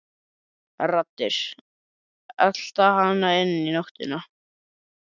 Raddir, elta hana inn í nóttina.